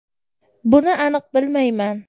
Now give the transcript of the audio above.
Buni aniq bilmayman.